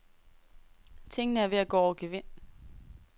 Tingene er ved at gå over gevind.